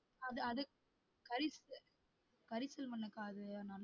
அது அது கரி~ கரிசல் மண்ணுக்கா அது